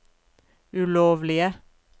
ulovlige